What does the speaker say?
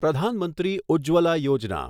પ્રધાન મંત્રી ઉજ્જવલા યોજના